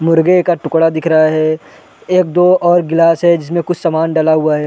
मुर्गे का टुकड़ा दिख रहा है एक-दो और गिलास है जिसमें कुछ समान डला हुआ हैं ।